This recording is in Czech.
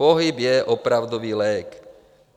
Pohyb je opravdový lék.